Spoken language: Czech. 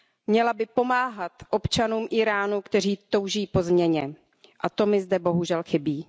Měla by pomáhat občanům Íránu, kteří touží po změně, a to mi zde bohužel chybí.